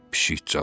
Pişik cavab verdi.